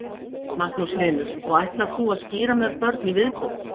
Magnús Hlynur: Og ætlar þú að skíra mörg börn í viðbót?